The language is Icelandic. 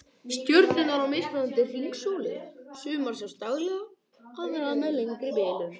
Stjörnurnar á mismunandi hringsóli, sumar sjást daglega, aðrar með lengri bilum